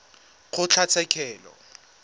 kgotlatshekelo